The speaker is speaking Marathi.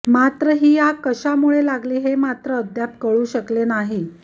मात्र ही आग कशामुळे लागली हे मात्र अद्याप कळू शकले नाही